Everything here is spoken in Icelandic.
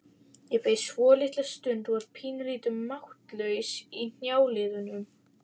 Ég beið svolitla stund og var pínulítið máttlaus í hnjáliðunum.